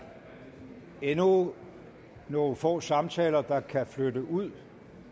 endnu nogle få samtaler der kan flytte ud